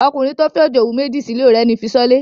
Ọkùnrin tó fẹ́ òjòwú méjì sílé ò rẹ́ni fi ṣọ́lé.